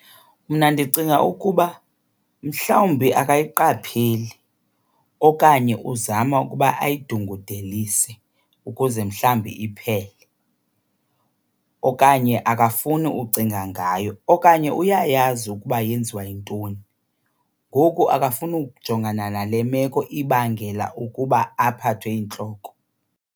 Mna ndicinga ukuba mhlawumbi akayiqapheli okanye uzama ukuba ayidungudelise ukuze mhlawumbi iphele. Okanye akafuni ucinga ngayo okanye uyayazi ukuba yenziwa yintoni ngoku akafuni ukujongana nale meko ibangela ukuba aphathwe yintloko.